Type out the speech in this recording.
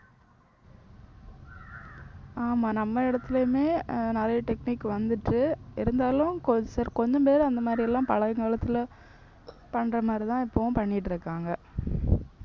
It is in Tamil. ஆமா நம்ம இடத்துலயுமே அஹ் நிறைய technique வந்துச்சு இருந்தாலும் கொ~ கொஞ்சம் பேர் அந்த மாதிரி எல்லாம் பழைய காலத்துல பண்ற மாதிரிதான் இப்பவும் பண்ணிட்டிருக்காங்க